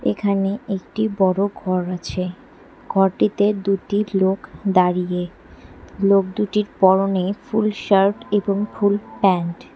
এখানে একটি বড়ো ঘর আছে ঘরটিতে দুটি লোক দাঁড়িয়ে লোক দুটির পরনে ফুল শার্ট এবং ফুল প্যান্ট ।